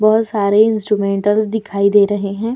बहुत सारे इन्स्टरुमेंटल्स दिखाई दे रहे हैं।